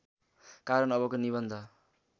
कारण अबको निबन्ध